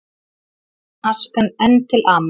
Askan enn til ama